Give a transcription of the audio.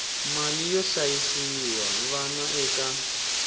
mali yo hlayisa vana eka